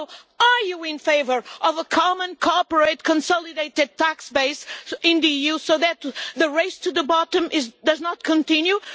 So, are you in favour of a common cooperate consolidated tax base in the EU so that the race to the bottom does not continue?